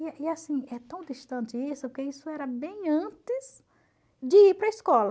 E e assim, é tão distante isso, porque isso era bem antes de ir para a escola.